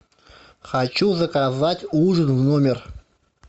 хочу заказать ужин в номер